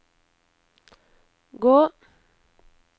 gå